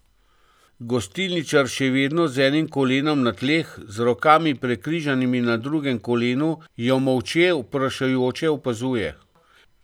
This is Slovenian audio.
Gostilničar, še vedno z enim kolenom na tleh, z rokami, prekrižanimi na drugem kolenu, jo molče vprašujoče opazuje.